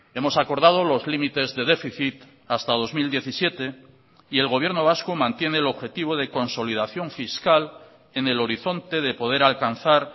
hemos acordado los límites de déficit hasta dos mil diecisiete y el gobierno vasco mantiene el objetivo de consolidación fiscal en el horizonte de poder alcanzar